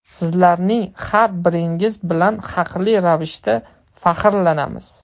Sizlarning har biringiz bilan haqli ravishda faxrlanamiz.